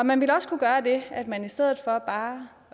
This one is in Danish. man vil også kunne gøre det at man i stedet for bare